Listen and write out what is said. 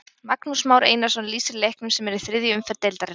Magnús Már Einarsson lýsir leiknum sem er í þriðju umferð deildarinnar.